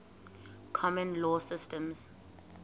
common law systems